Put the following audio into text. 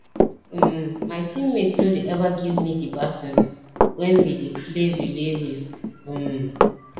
um my teammates no dey ever give me the baton wen we dey play relay race um